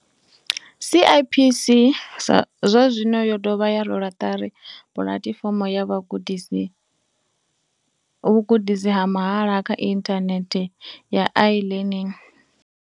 CIPC zwa zwino yo dovha ya rwela ṱari pulatifomo ya vhugudisi ha mahala kha inthanethe ya iLearning.